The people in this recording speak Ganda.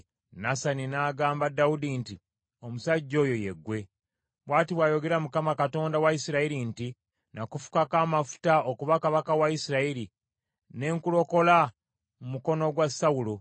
Nasani n’agamba Dawudi nti, “Omusajja oyo ye ggwe. Bw’ati bw’ayogera Mukama , Katonda wa Isirayiri nti, ‘Nakufukako amafuta okuba kabaka wa Isirayiri, ne nkulokola mu mukono gwa Sawulo,